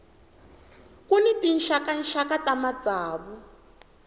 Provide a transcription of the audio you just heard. ku ni tinxakaxaka ta matsavu